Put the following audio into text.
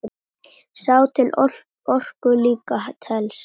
Sá til orku líka telst.